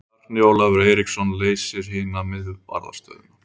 Bjarni Ólafur Eiríksson leysir hina miðvarðarstöðuna.